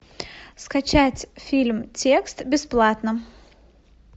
скачать фильм текст бесплатно